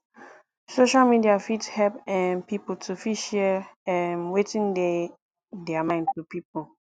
social media fit help um pipo to fit share um wetin dey their mind to pipo